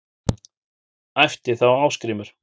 æpti þá Ásgrímur